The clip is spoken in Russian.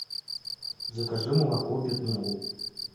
закажи молоко петмол